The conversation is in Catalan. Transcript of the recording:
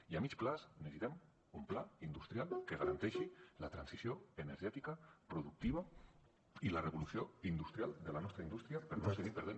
i a mitjà termini necessitem un pla industrial que garanteixi la transició energètica productiva i la revolució industrial de la nostra indústria per no seguir perdent